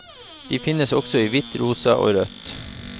De finnes også i hvitt, rosa og rødt.